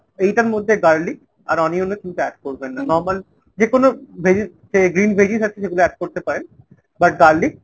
এইটার মধ্যে garlic আর onion ও কিন্তু add করবেন না, normal যে কোনো veggies যে green veggies আছে সেগুলো add করতে পারেন but garlic